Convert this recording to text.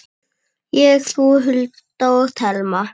Ég, þú, Hulda og Telma.